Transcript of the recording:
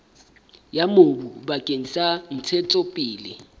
ya mobu bakeng sa ntshetsopele